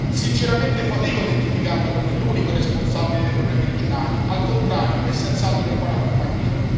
Sinceramente fatico a identificarlo come l'unico responsabile dei problemi regionali al contrario, è senz'altro in buona compagnia.